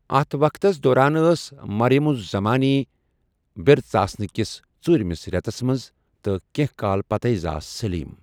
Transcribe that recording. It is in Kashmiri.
اتھ وقتَس دوران ٲس مریم الزَمانی بٕرژآسنٕہٕ کِس ژوٗرِمِس رٮ۪تس منٛز تہٕ کیٚنٛہہ کال پتے زاس سٔلیٖم۔